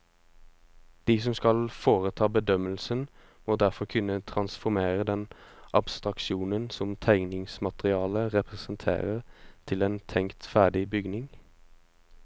De som skal foreta bedømmelsen, må derfor kunne transformere den abstraksjonen som tegningsmaterialet representerer til en tenkt ferdig bygning.